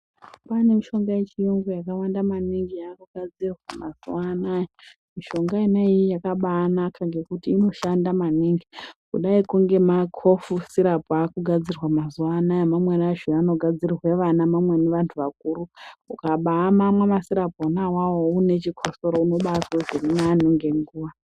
Kwane mishonga yechiyungu yakawanda maningi yakugadzirwa mazuwa anaya, mishonga yona iyi yakabanaka ngekuti inoshanda maningi. Kudaiko ngema Kofi sirapu akugadzirwa mazuwa anaya mamweni acho anogadzirirwa ana mamweni anhu akuru. Ukabamamwa masirapu ona awawo uine chokosoro unobazwe zvirinani ngenguwa.